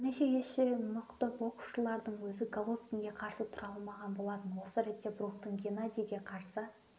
бірнеше есе мықты боксшылардың өзі головкинге қарсы тұра алмаған болатын осы ретте бруктың геннадийге қарсы